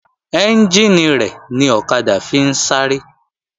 Ẹ́njìnì rẹ̀ ni ọ̀kadà fi ń sáré